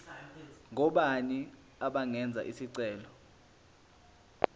ngobani abangenza isicelo